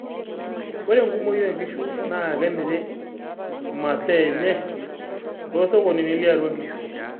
ore enkumoi oo nkishu naa kemirr imasaa enye too sokonini le atua inkishu